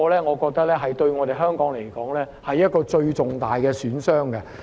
我覺得這對香港而言是最重大的損傷。